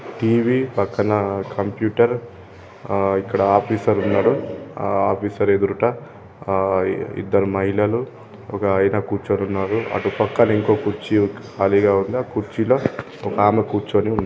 TV పక్కన computer ఆ ఇక్కడ ఆఫీసర్ ఉన్నారు ఆ ఆఫీసర్ ఎదురుట ఆ ఇద్దరు మహిళలు ఒక ఆయన కూర్చొని ఉన్నారు అటు పక్కన ఇంకో కుర్చీ ఖాళీగా ఉంది ఆ కుర్చీలో ఒక ఆమె కూర్చొని ఉంది.